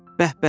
Bəh-bəh!